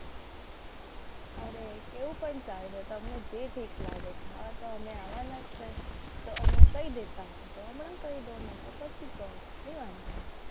અરે કેવું પણ ચાલે તમને જે ઠીક લાગે ખાવા તો અમે આવવાના જ છે. તો હમણાં કહી દેતા હોત તો હમણાં કહી દઉં ને તો પછી કહો કહી વાંદો નહિ.